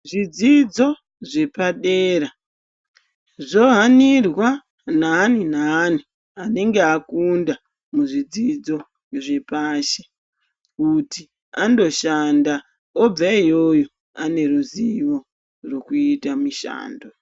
Zvidzidzo zvepadera zvohanirwa naani-naani inengeakunda muzvidzidzo zvepashi. Kuti andoshanda obva iyoyo ane ruzivo rwekuita mishando.